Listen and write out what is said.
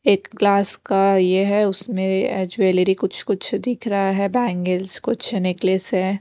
एक ग्लास का ये है उसमें ज्वैलरी कुछ कुछ दिख रहा है बैंगल्स कुछ नेकलेस हैं।